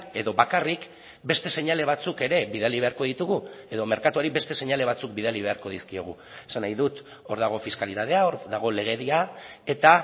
edo bakarrik beste seinale batzuk ere bidali beharko ditugu edo merkatuari beste seinale batzuk bidali beharko dizkiegu esan nahi dut hor dago fiskalitatea hor dago legedia eta